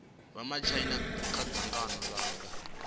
vha matshaina kha dzangano langa